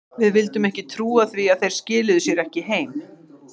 Við vildum ekki trúa því að þeir skiluðu sér ekki heim.